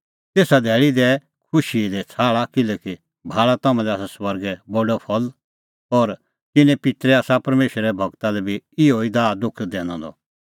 तेसा धैल़ी दैऐ खुशी दी छ़ाहल़ा किल्हैकि भाल़ा तम्हां लै आसा स्वर्गै बडअ फल़ और तिन्नें पित्तरै आसा परमेशरे गूरा लै बी इहअ ई दाहदुख दैनअ द